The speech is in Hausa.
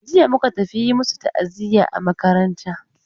Jiya muka tafi yi masu ta'aziya a makaranta.